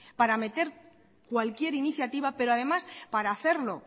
para meter cualquier iniciativa pero además para hacerlo